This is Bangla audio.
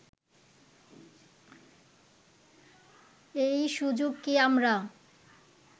এই সুযোগ কি আমরা